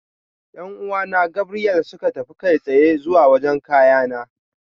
Yan'uwan Gabriel suka tafi kai tsaye zuwa wajen kayana.